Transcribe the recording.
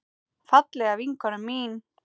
Fallega vinkona mín.